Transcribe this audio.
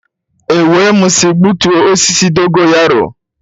E wee m sị gbutuo osisi dogo yaro.